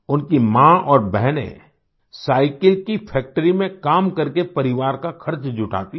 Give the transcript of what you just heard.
उनकी माँ और बहनें साईकिल की फैक्ट्री में काम करके परिवार का ख़र्च जुटाती हैं